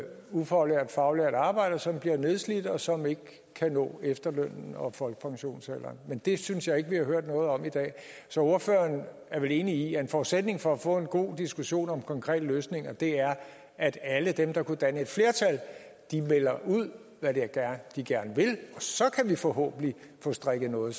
ufaglærte og faglærte arbejdere som bliver nedslidte og som ikke kan nå efterløns og folkepensionsalderen men det synes jeg ikke vi har hørt noget om i dag så ordføreren er vel enig i at en forudsætning for at få en god diskussion om konkrete løsninger er at alle dem der kunne danne et flertal melder ud hvad de gerne vil og så kan vi forhåbentlig få strikket noget